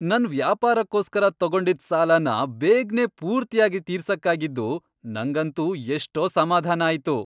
ನನ್ ವ್ಯಾಪಾರಕ್ಕೋಸ್ಕರ ತಗೊಂಡಿದ್ ಸಾಲನ ಬೇಗ್ನೇ ಪೂರ್ತಿಯಾಗ್ ತೀರ್ಸಕ್ಕಾಗಿದ್ದು ನಂಗಂತೂ ಎಷ್ಟೋ ಸಮಾಧಾನ ಆಯ್ತು.